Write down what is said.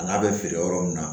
A n'a bɛ feere yɔrɔ min na